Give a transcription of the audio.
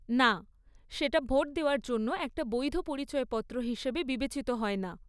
না, সেটা ভোট দেওয়ার জন্য একটা বৈধ পরিচয়পত্র হিসেবে বিবেচিত হয় না।